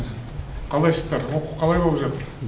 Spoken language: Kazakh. қалайсыздар оқу қалай боп жатыр